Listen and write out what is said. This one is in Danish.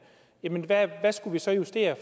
jamen hvad skulle vi så justere